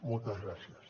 moltes gràcies